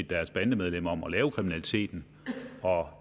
deres bandemedlemmer om at lave kriminaliteten